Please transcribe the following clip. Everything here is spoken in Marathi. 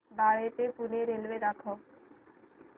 बाळे ते पुणे रेल्वे दाखव